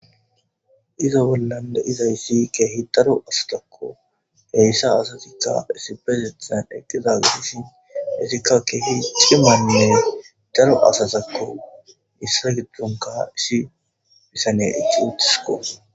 Izo bollande izayssi keehi daro asatakko heyssa asasika isibesethan eqqiza gidishin hesikka keehi cimannine daro asasakko issa giddonka isshi bisane ici uttisikko